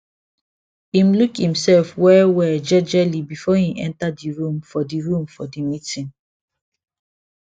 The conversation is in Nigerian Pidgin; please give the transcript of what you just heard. im look imself well well jejely before im enter the room for the room for the meeting